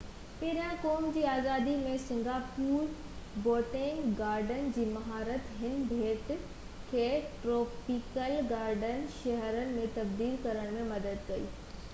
پهريان قوم جي آزادي ۾ سنگاپور بوٽينڪ گارڊن جي مهارت هن ٻيٽ کي ٽروپيڪل گارڊن شهر ۾ تبديل ڪرڻ ۾ مدد ڪئي